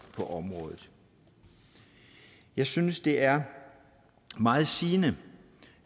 på området jeg synes det er meget sigende